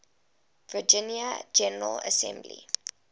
virginia general assembly